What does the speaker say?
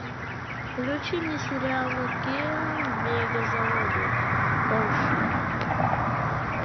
включи мне сериал нат гео мегазаводы порше